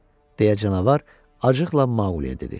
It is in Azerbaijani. deyə canavar acıqla Maqliyə dedi.